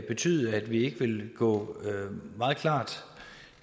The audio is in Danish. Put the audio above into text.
betyde at vi ikke vil gå meget klart